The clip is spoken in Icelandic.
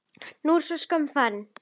Nú er sú skömm farin.